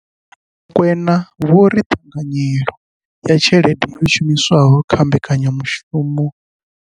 Kwena vho ri ṱhanganyelo ya tshelede yo shumiswaho kha mbekanyamushumo.